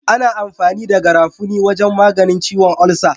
Ana amfani da garafuni wajan maganin ciwon ulsa